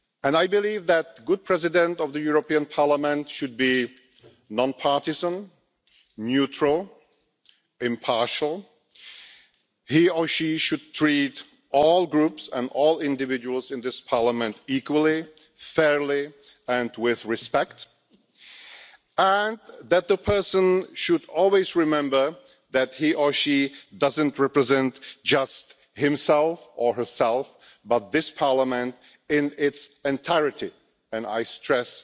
I believe that a good President of the European Parliament should be non partisan, neutral and impartial. He or she should treat all Groups and all individuals in this Parliament equally, fairly and with respect, and the person should always remember that he or she doesn't represent just himself or herself but this Parliament in its entirety, and I stress